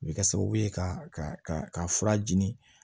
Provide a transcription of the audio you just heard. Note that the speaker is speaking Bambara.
A bɛ kɛ sababu ye ka fura di